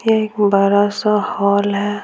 ये एक बड़ा सा हॉल है।